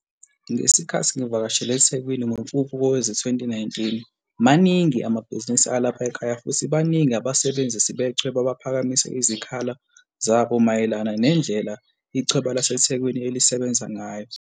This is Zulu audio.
Ngesikhathi ngivakashele eThekwini ngoMfumfu kowe zi-2019, maningi amabhizinisi alapha ekhaya futhi baningi abasebenzisi bechweba abaphakamise izikhala o zabo mayelana nendlela ichweba laseThekwini elisebenza ngayo.